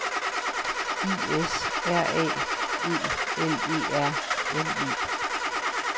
I S R A E L E R N E